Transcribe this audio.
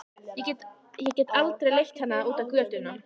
Ég get aldrei leitt hana út á götuna.